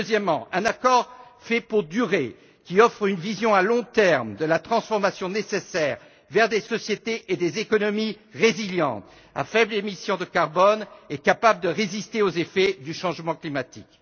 Deuxièmement, un accord fait pour durer, qui offre une vision à long terme de la transformation nécessaire vers des sociétés et des économies résilientes à faibles émissions de carbone et capables de résister aux effets du changement climatique.